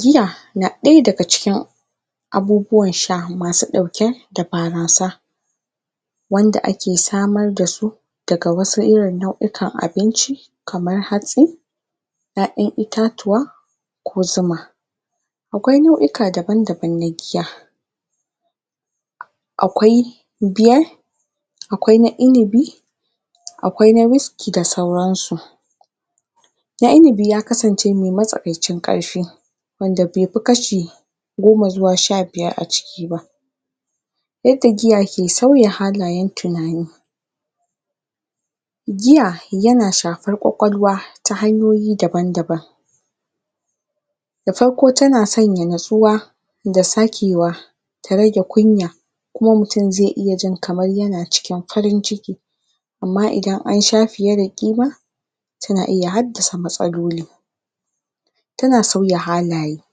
Giya na ɗaya daga cikin abubuwan sha masu ɗauke da barasa wanda ake samar da su daga wasu irin nau'ikan abinci kamar hatsi ƴaƴan itatuwa ko zuma. Akwai nau'ika dabam-dabam na giya. akwai beer akwai na inibi akwai na whiskey da sauransu. na inibi ya kasance mai matsakancin ƙarfi wanda bai fi kashi goma zuwa sha biyara a ciki ba. yadda giya ke sauya halayen tunani. Giya yana shafar ƙwaƙwalwa ta hanyoyi dabam-daban da farko tana sanya natsuwa da sakewa ta rage kunya kuma zai iya jin kamar yana cikin farin ciki amma idan an sha fiye da kima tana iya haddasa matsaloli tana sauya halaye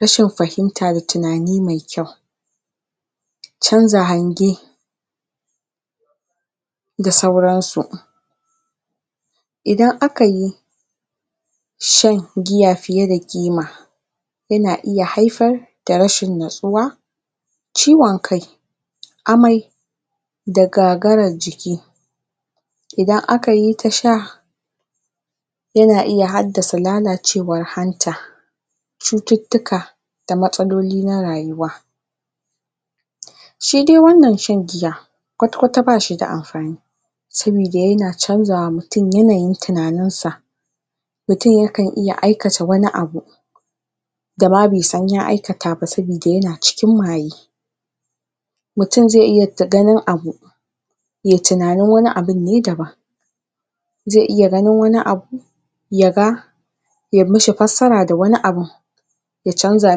rashin fahimta da tunani mai kyau canza hange da sauransu idan aka yi shan giya fiye da ƙima yana iya haifar da rashin natsuwa ciwon kai, amai da gagarar jiki idan aka yi ta sha yana iya haddasa lalacewar hanta cututtuka da matsaloli na rayuwa shi dai wannan shan giya kwata-kwata ba shi da amfani saboda yana canja wa mutum yanayin tunaninsa mutum yakan iya aikata wani abu dama bai san ya aikata ba saboda yana cikin maye mutum zai iya ganin abu yai tunanin wani abun ne dabam zai iya ganin ya ga yai mishi fassarar wani abu ya canza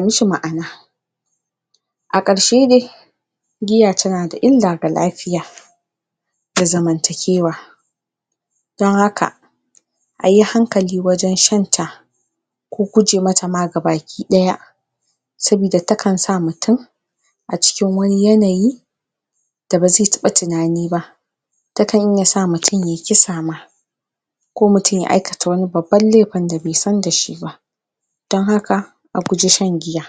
mishi ma'ana a ƙarshe dai giya tana da illa ga lafiya a zamantakewa don haka a yi hankali wajen shan ta ko guje mata ma ga baki ɗaya. sabida takan sa mutum a cikin wani yanayi da ba zai taɓa tunani ba takan iya sa mutum yai kisa ma ko mutum ya aikata wani babban laifin da bai san da shi ba ma. don haka a guji shan giya,